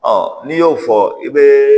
Ɔ n'i y'o fɔ i bɛ